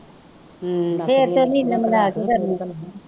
ਹੂੰ ਫੇਰ ਤੇ ਨਹੀਂ ਇਹਨੇ ਬਰਦਾਸ਼ਤ ਕਰਨਾ